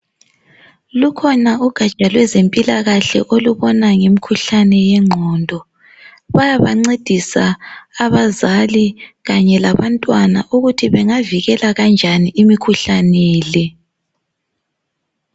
Lukhona ugatsha lwezempilakahle olubona ngekhuhlane ye ngqondo bayaba ncedisa abazali kanye labantwana ukuthi bengavikela kanjani imikhuhlane le